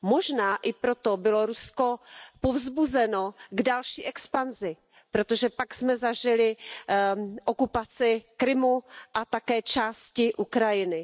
Možná i proto bylo Rusko povzbuzeno k další expanzi, protože pak jsme zažili okupaci Krymu a také části Ukrajiny.